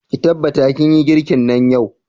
Ki tabbata kin yi girkin nan yau!